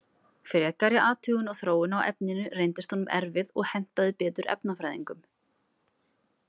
Frekari athugun og þróun á efninu reyndist honum erfið og hentaði betur efnafræðingum.